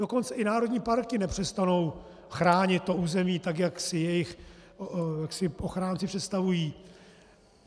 Dokonce i národní parky nepřestanou chránit to území tak, jak si jejich ochránci představují.